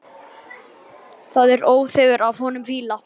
Það er óþefur af honum fýla!